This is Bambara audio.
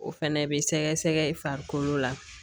O fɛnɛ bɛ sɛgɛsɛgɛ i farikolo la